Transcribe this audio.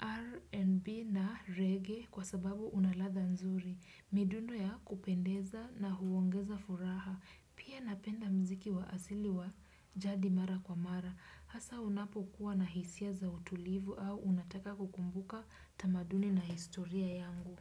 R&B na reggae kwa sababu unaladha nzuri. Midundo ya kupendeza na huongeza furaha. Pia napenda mziki wa asili wa jadi mara kwa mara. Hasa unapo kuwa na hisia za utulivu au unataka kukumbuka tamaduni na historia yangu.